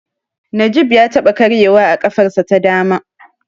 Najib ya taɓa karyewa a ƙafarsa ta dama.